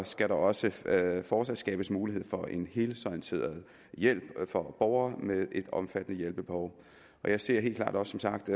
skal der også fortsat skabes mulighed for en helhedsorienteret hjælp for borgere med et omfattende hjælpebehov jeg ser helt klart som sagt